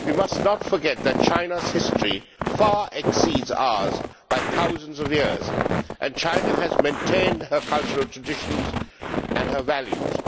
We must not forget that China's history exceeds ours by thousands of years. China has maintained her cultural traditions and her values.